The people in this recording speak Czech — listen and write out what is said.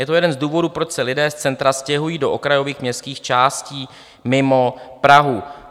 Je to jeden z důvodu, proč se lidé z centra stěhují do okrajových městských částí mimo Prahu.